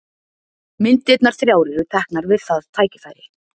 Myndirnar þrjár eru teknar við það tækifæri.